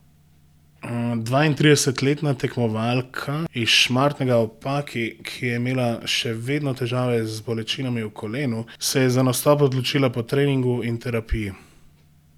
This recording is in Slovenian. Dvaintridesetletna tekmovalka iz Šmartnega ob Paki, ki je imela še vedno težave z bolečinami v kolenu, se je za nastop odločila po treningu in terapiji.